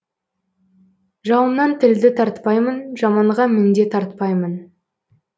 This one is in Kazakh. жауымнан тілді тартпаймын жаманға міндет артпаймын